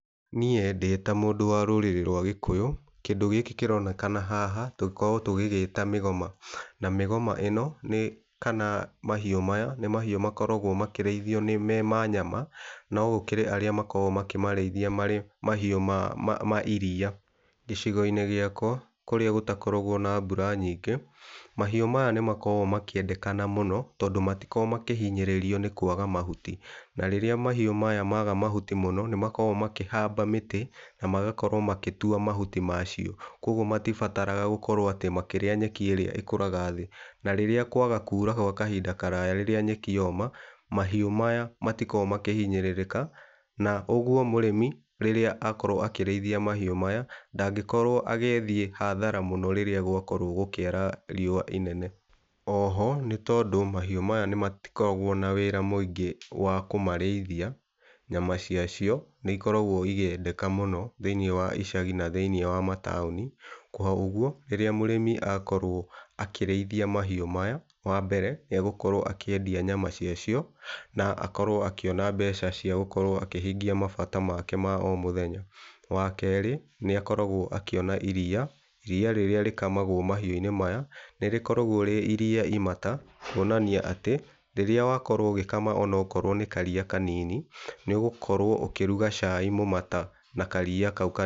Niĩ ndĩ ta mũndũ wa rũrĩrĩ rwa gĩkũyũ kĩndũ gĩkĩ kĩronekana haha tũkoragwo tũgĩgĩta mĩgoma. Na mĩgoma ĩno kana mahiũ maya nĩ mahiũ makoragwo makĩrĩithio me ma nyama, no gũkĩrĩ arĩa makoragwo makĩmarĩithia marĩ mahiũ ma iria. Gĩcigo-inĩ gĩakwa kũrĩa gũtakoragwo na mbura nyingĩ, mahiũ maya nĩ makoragwo makĩendekana mũno tondũ matikoragwo makĩhinyĩrĩrio nĩ kwaga mahuti. Na rĩrĩa mahiũ maya maga mahuti mũno nĩm akoragwo makĩhamba mĩtĩ na magakorwo magĩtwa mahuti macio kwa ũguo matibaraga gũkorwo atĩ makĩrĩa nyeki ĩrĩa ĩkũraga thĩĩ .Na rĩrĩa kwaga kura gwa kahinda karaya rĩrĩa nyeki yoma mahiũ maya matikoragwo makĩhinyĩrĩrĩka, na ũguo mũrĩmi rĩrĩa akorwo akĩrĩithia mahiũ maya ndangĩkorwo agĩthĩe hathara mũno rĩrĩa gwakorwo gũkĩara riũa inene. Oho, nĩ tondũ mahiũ maya matikoragwo na wĩra mũingĩ wa kũmarĩithia, nyama cia cio nĩ ikoragwo ikĩendeka mũno thĩiniĩ wa icagi na thĩiniĩ wa mataũni kwa ũguo rĩrĩa mũrĩmi akorwo akĩriithia mahiũ maya wambere nĩ egũkorwo akĩendia nyama cia cio na akorwo akĩona mbeca cia gũkorwo akĩhingĩa mabata make ma o mũthenya. Wa kerĩ, nĩ akoragwo akĩona iria, iria rĩrĩa rĩkamagwo mahiũ-inĩ maya nĩ rĩkoragwo rĩ iria imata kuonania atĩ rĩrĩa wakorwo ũgĩkama ona okorwo nĩ karia kanini nĩ ũgũkorwo ũkĩruga cai mũmata na karia kau kanini.